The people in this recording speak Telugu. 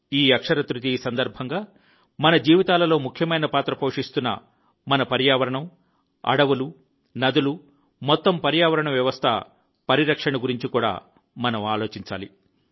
ఈ అక్షయ తృతీయ సందర్భంగా మన జీవితాలలో ముఖ్యమైన పాత్ర పోషిస్తున్న మన పర్యావరణం అడవులు నదులు మొత్తం పర్యావరణ వ్యవస్థ పరిరక్షణ గురించి కూడా ఆలోచించాలి